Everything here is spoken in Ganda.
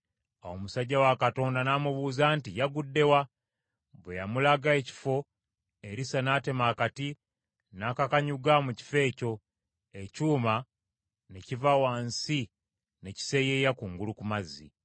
Awo omusajja wa Katonda n’amubuuza nti, “Yagudde wa?” Bwe yamulaga ekifo, Erisa n’atema akati, n’akakanyuga mu kifo ekyo, ekyuma ne kiva wansi ne kiseeyeeya kungulu ku mazzi.